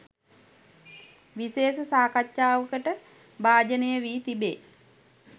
විශේෂ සාකච්ඡාවකට භාජනය වී තිබේ.